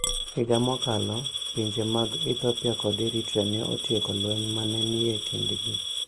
Higa mokalo, pinje mag Ethiopia kod Eritrea ne otieko lweny ma ne nie kindgi